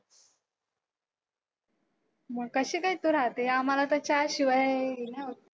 मग कशी काय तू राहते? आम्हाला चहाशिवाय .